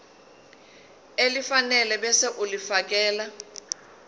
elifanele ebese ulifiakela